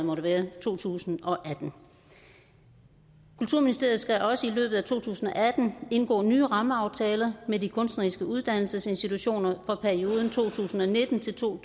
to tusind og atten kulturministeriet skal også i løbet af to tusind og atten indgå nye rammeaftaler med de kunstneriske uddannelsesinstitutioner for perioden to tusind og nitten til to